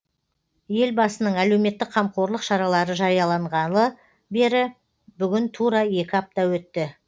елбасының әлеуметтік қамқорлық шаралары жарияланғалы бері бүгін тура екі апта өтті